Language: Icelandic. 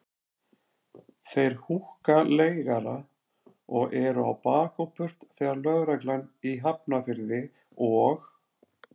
Þeir húkka leigara og eru á bak og burt þegar lögreglan í Hafnarfirði og